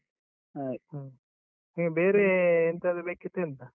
ಆಯ್ತು ಹ್ಮ್, ಬೇರೆ ಎಂತಾದ್ರೂ ಬೇಕಿತ್ತಾ ಎಂತ?